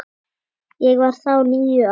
Ég var þá níu ára.